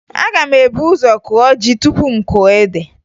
Aga m ebu ụzọ kụọ ji tupu m kụọ ede